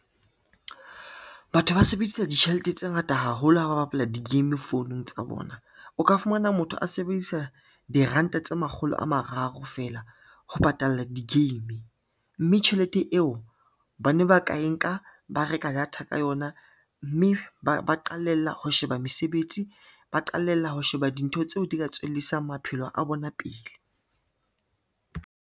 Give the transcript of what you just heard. Batho ba sebedisa ditjhelete tse ngata haholo ha ba bapala di-game founung tsa bona. O ka fumana motho a sebedisa diranta tse makgolo a mararo fela ho patalla di-game, mme tjhelete eo bana ba ka e nka ba reka data ka yona, mme ba qalella ho sheba mesebetsi, ba qalella ho sheba dintho tseo di ka tswellisang maphelo a bona pele